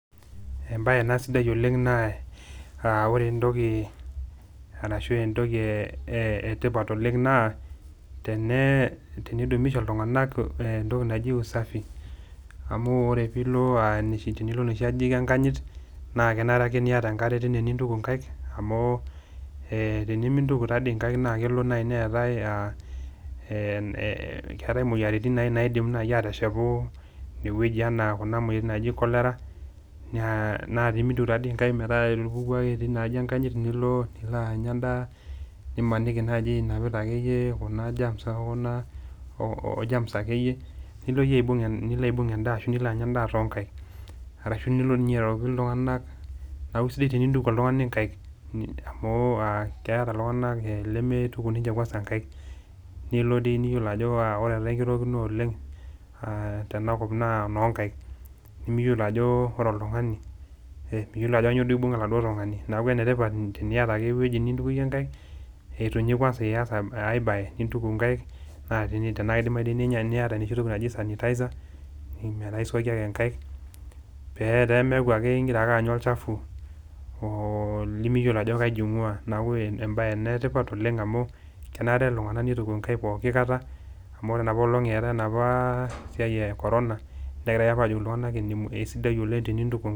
Ebae ena sidai oooleng naa ore etoki ee ashu etoki ee etipat ooleng naa tene tenidumisha iltungana etoki naji usafi amu ore pee ilo noshi ajijik enkanyit naa kenare ake niata enkare teine nituku kaik, amu ee tenimituku doi nkaik naa kelo naaji neetae, ee moyiaritin nadim naaji ateshepu ine wueji, naiko kuna moyiaritin naaji cholera naa tenimituku taadoi nkaik metaa itupukuo ake tina aji enkanyit nilo aanya edaa, nimaniki naaji akeyie yie inapita kuba germs okuna oo germs akeyie yie nitoki aibung ashu nilo anya edaa too kaik, arashu nilo airoroki iltungana, neaku isidai tenituku oltungani nkaik. Amu keeta iltungana leneituku ninche kwasa nkaik nilo doi niyiolo ajo ore ekirorookino ooleng aah tena kop naa enokaik. Nimiyiolo ajo ore oltungani aa miyiolo ajo kanyoo ibunga oladuo tungani, neaku enetipat teniata ake wueji nitukuyie nkaik itu ninye ias ae bae nituku nkaik naa keidimayu teniata ekiti toki naji sanitizer metaa isuaki ake nkaik pe meeku ake igira ake anya olchafu oolimiyiolo aji kaji ngua neaku ore ena bae ena etipat amu keishaa neituku iltungana kaik ekata pooki. Amu ena paelong eetae enapa siai e corona negira apa ajoki iltungana esidai ooleng tenituku nkaik.